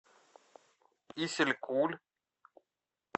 исилькуль